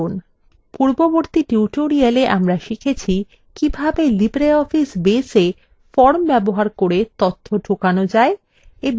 পূর্ববর্তী tutorial আমরা শিখেছি কিভাবে libreoffice basea forms ব্যবহার করে তথ্য ঢোকানো যায় এবং কিভাবে ফর্মটি পরিবর্তন করা যায়